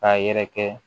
K'a yɛrɛ kɛ